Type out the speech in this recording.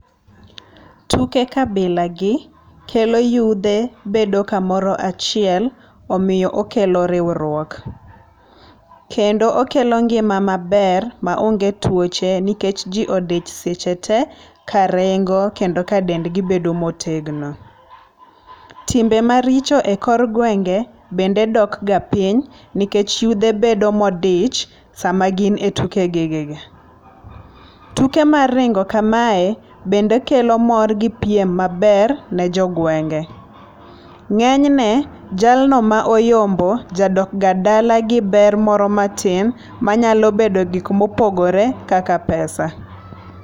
Tuke kabilagi kelo yudhe bedo kamoro achiel omiyo okelo riwruok. Kendo okelo ngima maber maonge tuoche nikech ji odich seche te ka ringo kendo ka dendgi bedo motegno. Timbe maricho e kor gwenge bende dok ga piny nikech yudhe bedo ma odich sama gin e tuke gi gi gi. Tuko mar ringo kamae bende kelo mor gi piem maber ne jo gwenge. Ngényne jalno ma oyombo, jadokga dala gi ber moro matin manyalo bedo gik ma opogore kaka pesa.